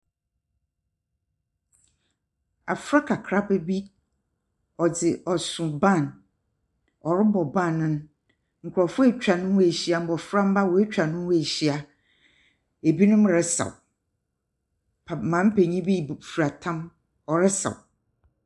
Afra kakraba bi ɔdze ɔso bag. Ɔrobɔ band no. Nkurɔfoɔ atwa ne ho ehyia, mbɔframba woetwa ne ho ehyia. Ebinom resaw. Pa maame penyin bi bu fura tam, ɔresaw.